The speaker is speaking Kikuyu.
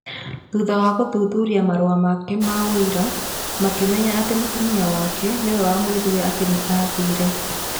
Thutha wa gũthuthuria marũa make ma ũira, makĩmenya atĩ mũtumia wake nĩwe wamwĩrire atĩ nĩ aathire.